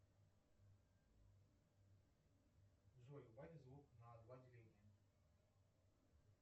джой убавь звук на два деления